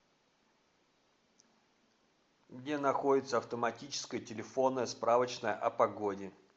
где находится автоматическая телефонная справочная о погоде